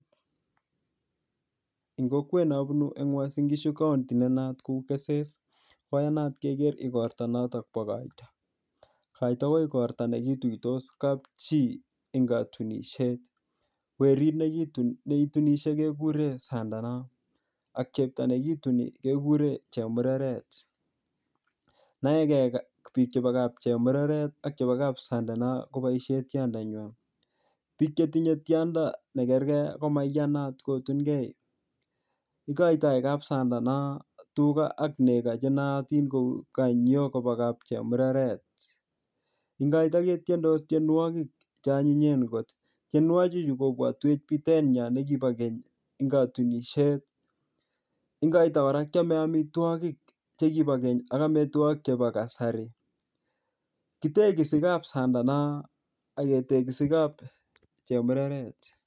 Eng kokwet nabunu eng Uasin Ngishu County ne naat kou keses, koyanat keger igorto notokbo koito. Koito ko igorto notok kituitos kapchi eng katunisiet. Werit ne itunisie keguren sandanon ak chepto nekituni keguren chemureret. Naege biik chebokap chemureret ak kap sandano koboisie tiondonya. Biik che tinye tiondo negerge komaiyanat kutungei. Igoitoi kapsandano tuga ak nego chenayatin konyokobwa kapchemureret. Eng koito ketiendis tienwogik cheanyinyen kot. Tienwogichu kobwatuech biten nyo nekibo keny eng katunisiet. Eng koiton kora keame amitwogik che kibokeny ak amitwogik chebo kasari. Kitegisi kap sandano ak ketegisi kapchemureret.